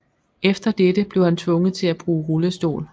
Efter dette blev han tvunget til at bruge rullestol